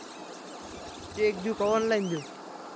cheque देऊ? का online देऊ?